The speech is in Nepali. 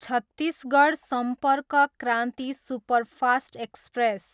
Chhattisgarh Sampark Kranti superfast express